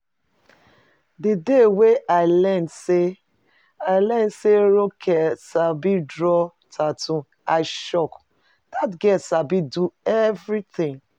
The day wey I learn say I learn say Ronke sabi draw tattoo I shock, dat girl sabi do everything